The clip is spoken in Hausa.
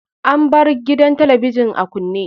An bar gidan talabijin a kunne.